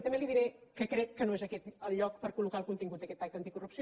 també li diré que crec que no és aquest el lloc per collocar el contingut d’aquest pacte anticorrupció